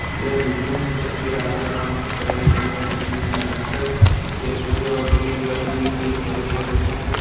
यह दिखने में एक किराना दुकान की तरह ही लग रहा है जिसमे अधिकतर पेप्सी और ड्रिंक की बोतल रखे गए है।